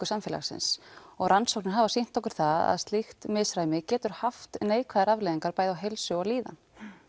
samfélagsins og rannsóknir hafa sýnt okkur það að slíkt misræmi getur haft neikvæðar afleiðingar bæði á heilsu og líðan